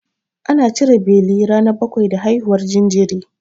Ana cire beli ranar bakwai da haihuwar jinjiri.